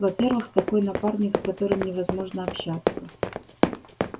во-первых такой напарник с которым невозможно общаться